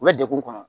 U bɛ degun kɔnɔ